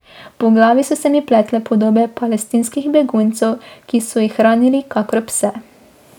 Po glavi so se mi pletle podobe palestinskih beguncev, ki so jih hranili kakor pse.